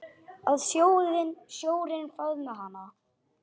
Að sjórinn faðmi hana.